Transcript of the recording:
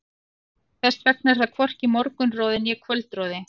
Þess vegna er þar hvorki morgunroði né kvöldroði.